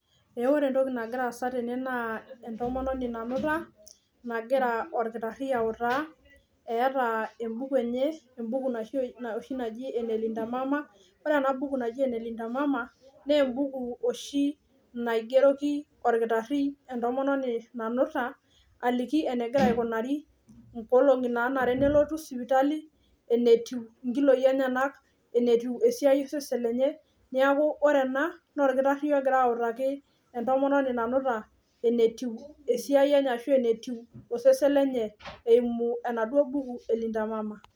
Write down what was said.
Eeh wore entoki nakira aasa tene naa entomononi nanuta, nakira orkitarri autaa, eata embuku enye, embuku oshi naji ene Linda mama. Wore ena buki naji ene Linda mama naa embuku oshi naigeroki olkitarri entomononi nanuta, aliki enekira aikunari, inkolongi naanare nelotu sipitali, enetiu inkiloi enyenak, enetiu esiai osesen lenye. Neeku wore ena, naa olkitarri okira autaki entomononi nanuta enetiu esiai enye ashu enetiu osesen lenye eimu enaduo buku e Lindaa mama.